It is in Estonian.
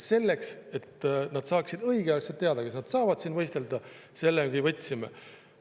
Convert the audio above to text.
Selleks, et nad saaksid õigeaegselt teada, kas nad saavad siin võistelda, me võtsime.